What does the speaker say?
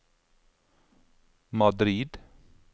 Madrid